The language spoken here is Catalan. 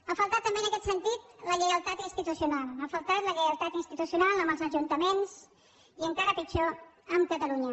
ha faltat també en aquest sentit la lleialtat institucional ha faltat la lleial tat institucional amb els ajuntaments i encara pitjor amb catalunya